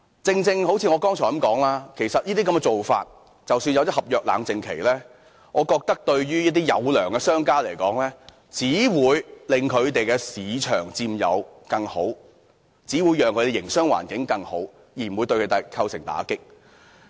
就像我剛才所說，即使訂立了合約冷靜期，我覺得對於一些殷實商家來說，這只會令他們有更大市場佔有率，令他們營商環境更好，並不會構成打擊。